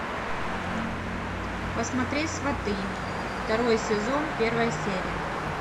посмотреть сваты второй сезон первая серия